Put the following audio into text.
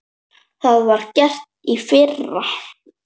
Það var gert í fyrra.